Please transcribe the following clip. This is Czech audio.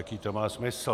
Jaký to má smysl?